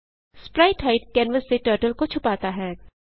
sprite hide canvas से turtle को छुपाता है